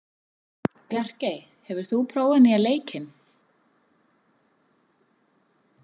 Bjarkey, hefur þú prófað nýja leikinn?